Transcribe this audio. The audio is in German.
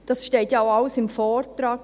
Das steht ja auch alles im Vortrag.